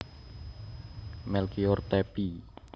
Melkior Tappy